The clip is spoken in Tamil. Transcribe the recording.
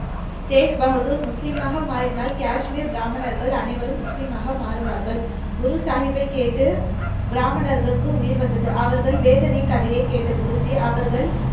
தேக் பகதூர் முஸ்லீமாக மாறினால், காஷ்மீர் பிராமணர்கள் அனைவரும் முஸ்லீமாக மாறுவார்கள். குரு சாகிப்பை கேட்டு பிராமணர்களுக்கு உயிர் வந்தது. அவர்கள் வேதனை கதைய கேட்ட குருஜி அவர்கள்,